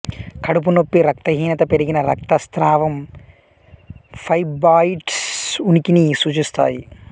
కడుపు నొప్పి రక్తహీనత పెరిగిన రక్తస్రావం ఫైబ్రాయిడ్స్ ఉనికిని సూచిస్తాయి